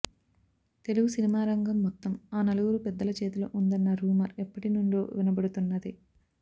తెలుగు సినిమారంగం మొత్తం ఆ నలుగురు పెద్దల చేతిలో ఉందన్న రూమర్ ఎప్పటినుండో వినపడుతున్నదే